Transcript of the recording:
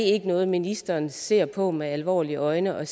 ikke noget ministeren ser på med alvorlige øjne og